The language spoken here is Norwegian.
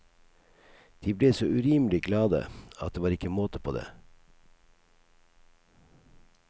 De ble så urimelig glade at det var ikke måte på det.